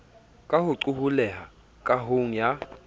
ka ho qoholleha kahong ya